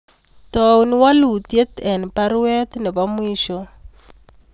Taun walutyuet en baruet nebo mwisho